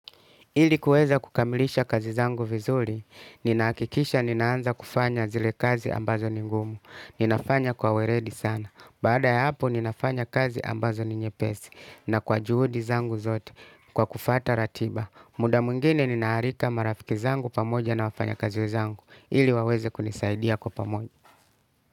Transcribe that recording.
Ili kuweza kukamilisha kazi zangu vizuri, ninahakikisha ninaanza kufanya zile kazi ambazo ni ngumu. Ninafanya kwa weledi sana. Baada ya hapo, ninafanya kazi ambazo ni nyepesi. Na kwa juhudi zangu zote, kwa kufuata ratiba. Muda mwingine ninaalika marafiki zangu pamoja na wafanyakazi wenzangu. Ili waweze kunisaidia kwa pamoja.